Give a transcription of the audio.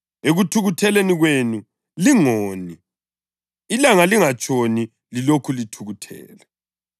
“Ekuthukutheleni kwenu lingoni” + 4.26 AmaHubo 4.4: Ilanga kalingatshoni lilokhu lithukuthele